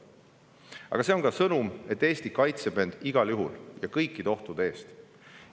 Aga see on ka sõnum, et Eesti kaitseb end igal juhul ja kõikide ohtude eest.